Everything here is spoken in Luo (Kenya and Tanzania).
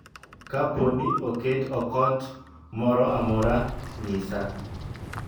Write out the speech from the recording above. Kapo ni oket okot moro amora, nyisa.